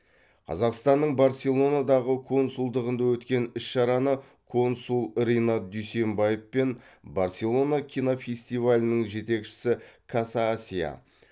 қазақстанның барселонадағы консулдығында өткен іс шараны консул ринат дүйсембаев пен барселона кинофестивалінің жетекшісі каса асия